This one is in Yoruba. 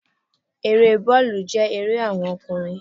Eré bóòlù jẹ́ ère àwon okùnrin